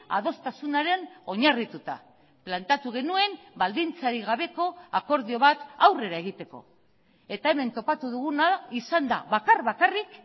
adostasunaren oinarrituta planteatu genuen baldintzarik gabeko akordio bat aurrera egiteko eta hemen topatu duguna izan da bakar bakarrik